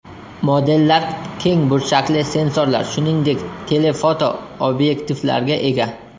Modellar keng burchakli sensorlar, shuningdek, tele-foto obyektivlarga ega.